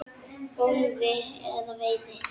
golfi eða veiði.